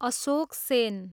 Ashok Sen